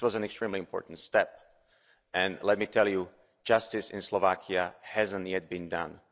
That was an extremely important step, and let me tell you, justice in Slovakia hasn't yet been done.